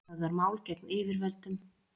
Höfðar mál gegn yfirvöldum